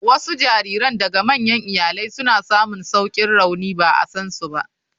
Wasu jariran daga manyan iyalai suna samun saukin rauni ba a san su ba.